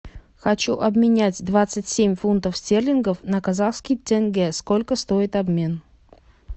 хочу обменять двадцать семь фунтов стерлингов на казахский тенге сколько стоит обмен